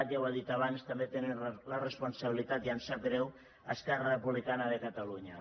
ja ho he dit abans també tenen la responsabilitat i em sap greu esquerra republicana de catalunya